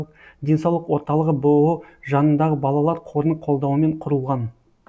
денсаулық орталығы бұұ жанындағы балалар қорының қолдауымен құрылған